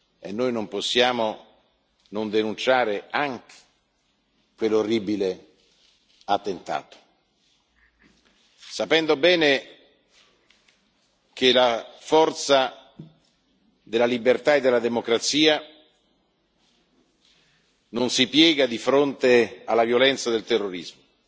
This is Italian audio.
e noi non possiamo non denunciare anche quell'orribile attentato, sapendo bene che la forza della libertà e della democrazia non si piega di fronte alla violenza del terrorismo.